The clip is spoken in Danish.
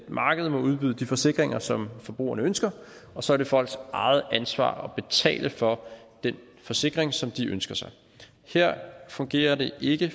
markedet må udbyde de forsikringer som forbrugerne ønsker og så er det folks eget ansvar at betale for den forsikring som de ønsker sig her fungerer det ikke